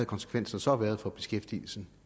konsekvenserne så været for beskæftigelsen